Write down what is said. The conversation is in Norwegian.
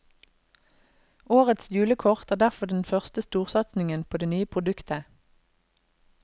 Årets julekort er derfor den første storsatsingen på det nye produktet.